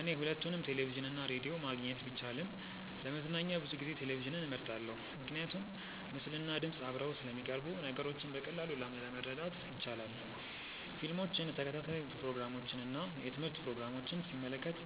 እኔ ሁለቱንም ቴሌቪዥን እና ራዲዮ ማግኘት ቢቻልም ለመዝናኛ ብዙ ጊዜ ቴሌቪዥንን እመርጣለሁ። ምክንያቱም ምስልና ድምፅ አብረው ስለሚቀርቡ ነገሮችን በቀላሉ ማረዳት ይቻላል። ፊልሞችን፣ ተከታታይ ፕሮግራሞችን እና የትምህርት ፕሮግራሞችን ሲመለከት